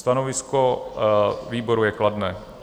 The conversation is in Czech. Stanovisko výboru je kladné.